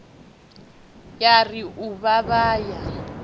ya ri u vhavha ya